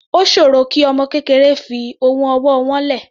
Ó sòro kí ọmọ kékeré fi ohun ọwọ́ wọ́n lẹ̀.